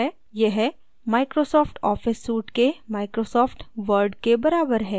यह Microsoft office suite के Microsoft word के बराबर है